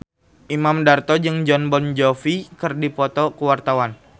Imam Darto jeung Jon Bon Jovi keur dipoto ku wartawan